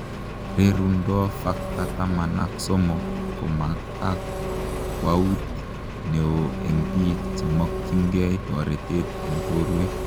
Rerundoo Factor taman ak somok komakakwaut neoo eng piik chemokyin gei toretet eng porwek